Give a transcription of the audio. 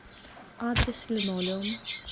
адрес линолеум